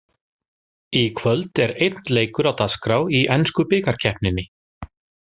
Í kvöld er einn leikur á dagskrá í ensku bikarkeppninni.